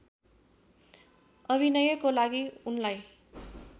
अभिनयको लागि उनलाई